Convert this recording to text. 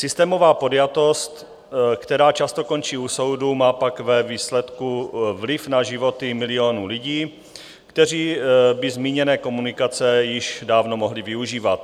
Systémová podjatost, která často končí u soudu, má pak ve výsledku vliv na životy milionů lidí, kteří by zmíněné komunikace již dávno mohli využívat.